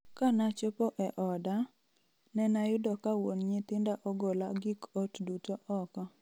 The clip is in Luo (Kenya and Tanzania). Kanachopo e oda ,nenayudo ka wuon nyithinda ogola gik ot duto oko.